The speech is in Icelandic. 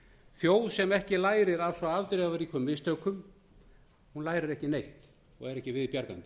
þjóð sem ekki lærir af svo afdrifaríkum mistökum sem hér voru gerð lærir aldrei neitt og er ekki við bjargandi